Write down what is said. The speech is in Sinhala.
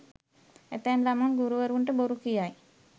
ඇතැම් ළමුන් ගුරුවරුන්ට බොරු කියයි.